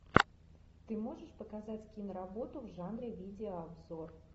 ты можешь показать киноработу в жанре видеообзор